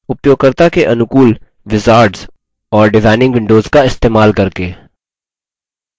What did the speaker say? उपयोगकर्ता के अनुकूल wizards और डिजाइनिंग windows का इस्तेमाल करके